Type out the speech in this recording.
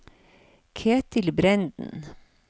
Ketil Brenden